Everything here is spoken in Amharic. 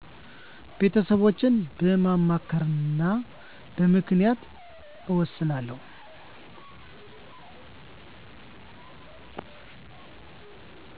ቤተሰቦቸን በማማከርና በምክንያት እወስናለሁ።